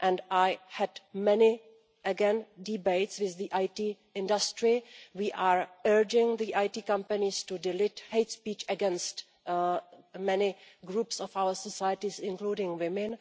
I have had many debates with the IT industry we are urging the IT companies to delete hate speech against many groups of our society, including women.